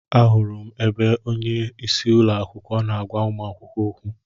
Ahụrụ m ebe onyeisi ụlọakwụkwọ na-agwa ụmụ akwụkwọ okwu.